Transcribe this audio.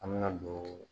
An bɛna don